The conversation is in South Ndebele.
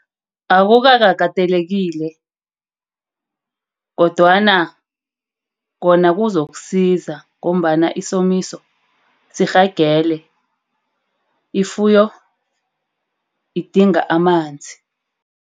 Akukakatelekile kodwana Kona kuzokusiza ngombana isomiso sirhelebhe ifuyo idinga amanzi.